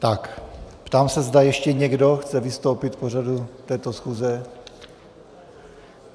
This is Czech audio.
Tak, ptám se, zda ještě někdo chce vystoupit k pořadu této schůze.